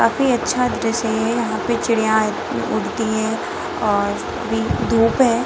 काफी अच्छा दृश्य है यहाँ पे चिड़िया उड़ती है और अभी धुप है ।